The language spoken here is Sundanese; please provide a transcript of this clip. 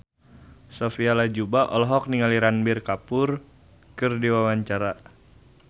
Sophia Latjuba olohok ningali Ranbir Kapoor keur diwawancara